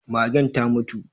Magen ta mutu.